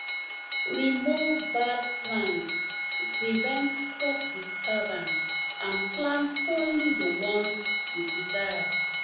remove bad plants to prevent crop disturbance and plant only the ones you desire